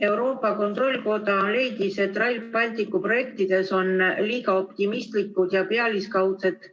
Euroopa Kontrollikoda leidis, et Rail Balticu projektides on liiga optimistlikud ja pealiskaudsed